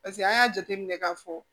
Paseke an y'a jateminɛ k'a fɔ